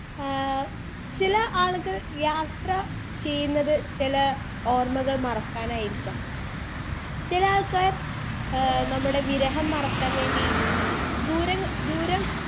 speaker 2 ഏഹ് ചില ആളുകൾ യാത്ര ചെയ്യ്ന്നത് ചെല ഓർമ്മകൾ മറക്കാനായിരിക്കാം ചില ആൾക്കാർ ഏഹ് നമ്മുടെ വിരഹം മറക്കാൻ വേണ്ടി ദൂരങ്ങ ദൂരം